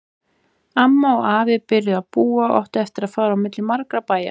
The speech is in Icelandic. Amma og afi byrjuðu að búa og áttu eftir að fara á milli margra bæja.